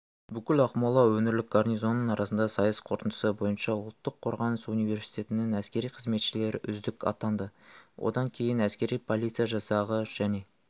бүкіл ақмола өңірлік гарнизоны арасында сайыс қорытындысы бойынша ұлттық қорғаныс университетінің әскери қызметшілері үздік атанды одан кейін әскери полиция жасағы және